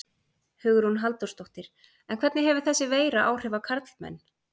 Hugrún Halldórsdóttir: En hvernig hefur þessi veira áhrif á karlmenn?